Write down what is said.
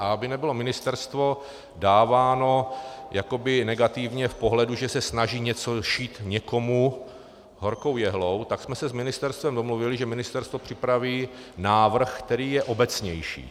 A aby nebylo ministerstvo dáváno jakoby negativně v pohledu, že se snaží něco šít někomu horkou jehlou, tak jsme se s ministerstvem domluvili, že ministerstvo připraví návrh, který je obecnější.